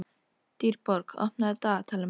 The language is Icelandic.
Dýrborg, opnaðu dagatalið mitt.